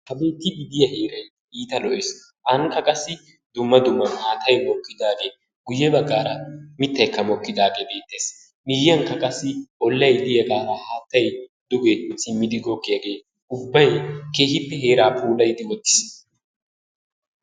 Ha beettiiddi diya heeray iita lo"es. Ankka qassi dumma dumma maatay mokkidaage guyye baggaara mittaykka mokkidaagee beettees. Miyyiyankka qassi ollay de'iyagaara haattay duge simmidi goggiyagee ubbay keehippe heeraa puulayidi wottiis.